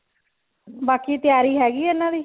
ਬਾਕੀ ਤਿਆਰੀ ਹੈਗੀ ਆ ਇਹਨਾਂ ਦੀ